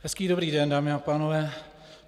Hezký dobrý den, dámy a pánové.